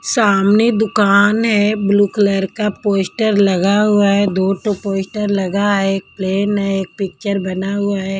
सामने दुकान है ब्लू कलर का पोस्टर लगा हुआ है दो टो पोस्टर लगा है एक प्लेन है एक पिक्चर बना हुआ है।